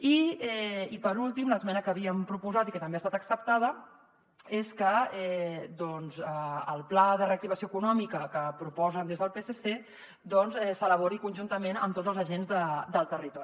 i per últim l’esmena que havíem proposat i que també ha estat acceptada és que el pla de reactivació econòmica que proposen des del psc doncs s’elabori conjuntament amb tots els agents del territori